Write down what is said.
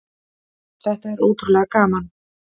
Þetta er ótrúlega gaman.